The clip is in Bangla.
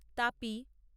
তাপি